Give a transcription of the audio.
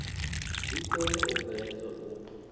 dzi kone u bveledzwa u